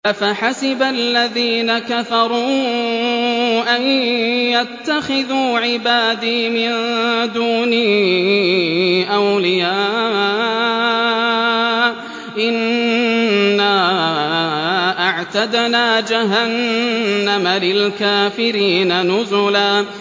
أَفَحَسِبَ الَّذِينَ كَفَرُوا أَن يَتَّخِذُوا عِبَادِي مِن دُونِي أَوْلِيَاءَ ۚ إِنَّا أَعْتَدْنَا جَهَنَّمَ لِلْكَافِرِينَ نُزُلًا